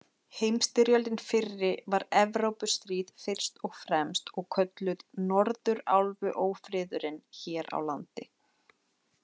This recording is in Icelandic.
Heimsstyrjöldin fyrri var Evrópustríð fyrst og fremst og kölluð Norðurálfuófriðurinn hér á landi.